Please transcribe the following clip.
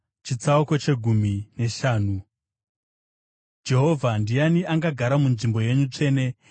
Jehovha, ndiani angagara munzvimbo yenyu tsvene? Ndiani angagara pagomo renyu dzvene?